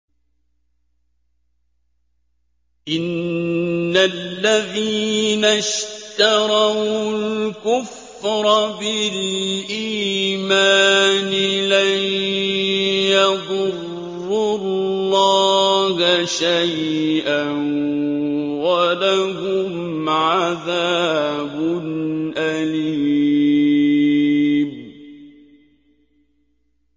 إِنَّ الَّذِينَ اشْتَرَوُا الْكُفْرَ بِالْإِيمَانِ لَن يَضُرُّوا اللَّهَ شَيْئًا وَلَهُمْ عَذَابٌ أَلِيمٌ